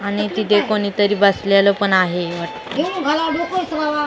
आणि तिथे कोणीतरी बसलेले पण आहे --